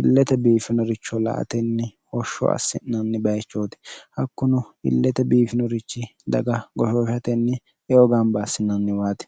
illete biifinoricho la atenni hoshsho assi'nanni bayichooti hakkuno illete biifinorichi daga goshooshatenni eo gaamba assinanniwaati